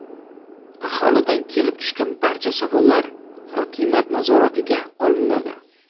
Aholidan kelib tushgan barcha savollar hokimiyat nazoratiga olinadi.